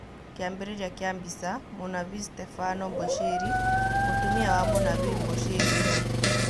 Kĩambĩrĩria kĩa mbica, Mũnabii Stebano Mbushĩri, mũtumia wa Mũnabii Mbushĩri nũũ?